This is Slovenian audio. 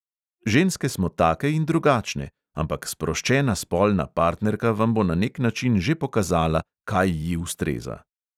Ženske smo take in drugačne, ampak sproščena spolna partnerka vam bo na nek način že pokazala, kaj ji ustreza.